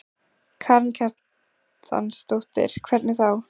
Karen Kjartansdóttir: Hvernig þá?